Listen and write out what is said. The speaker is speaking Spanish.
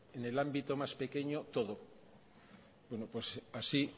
en el ámbito más pequeño todo bueno pues así